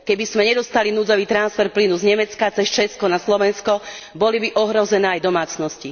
Keby sme nedostali núdzový transfer plynu z Nemecka cez Česko na Slovensko, boli by ohrozené aj domácnosti.